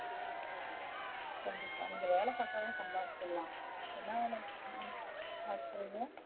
கண்டிப்பா நீங்க வேலை பாத்தாலே சம்பச்சிறுலாம் ஏனா